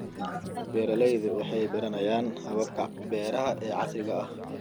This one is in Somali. Beeraleydu waxay baranayaan hababka beeraha ee casriga ah.